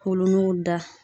Wolono da